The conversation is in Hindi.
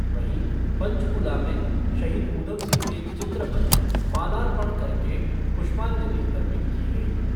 वहीं पंचकूला में शहीद उद्यम सिंह के चित्र पर मालापर्ण करके पुष्पाजंलि अर्पित की गई।